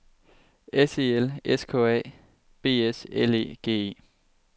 S E L S K A B S L E G E